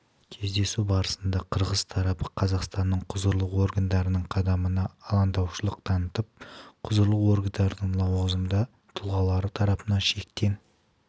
кездесу барысында қырғыз тарабы қазақстанның құзырлы органдарының қадамына алаңдаушылық танытып құзырлы органдарының лауазымды тұлғалары тарапынан шектен